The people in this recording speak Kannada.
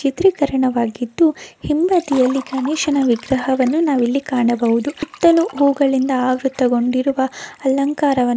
ಚಿತ್ರೀಕರಣವಾಗಿದ್ದು ಹಿಂಬದಿಯಲ್ಲಿ ಗಣೇಶನ ವಿಗ್ರಹವನ್ನು ನಾವಿಲ್ಲಿ ಕಾಣಬಹುದು. ಸುತ್ತಲೂ ಹೂಗಳಿಂದ ಆವೃತಗೊಂಡಿರುವ ಅಲಂಕಾರವನ್ನು--